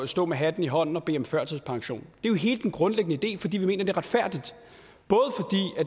stå med hatten i hånden og bede om førtidspension det er hele den grundlæggende idé fordi vi mener det er retfærdigt